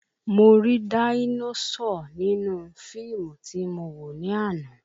Mo ri dáínósọ̀ nínú fíìmù tí mo wò ní àná